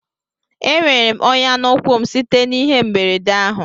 Enwere m onya na ụkwụ m site na ihe mberede ahụ